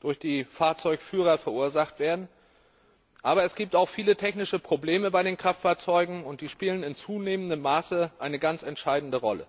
durch die Fahrzeugführer verursacht werden, aber es gibt auch viele technische Probleme bei den Kraftfahrzeugen, und die spielen in zunehmendem Maße eine ganz entscheidende Rolle.